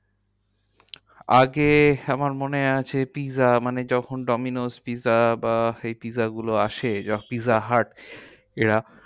আগে আমার মনে আছে pizza মানে যখন ডোমিনোস pizza বা এই pizza গুলো আসে যা pizzahut এরা